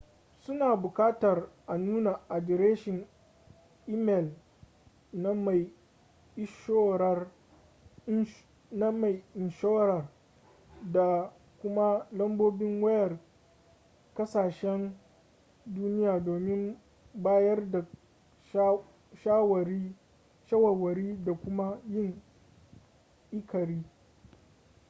suna bukatar a nuna adireshin imel na mai inshorar da kuma lambobin wayar kasahsen duniya domin bayar da shawarwari da kuma yin ikirari